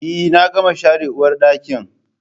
Eh na gama share uwarɗakin